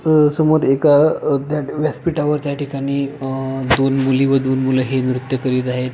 समोर एका व्यासपीठावर त्या ठिकाणी दोन मुली व दोन मूल हे नृत्य करित आहे.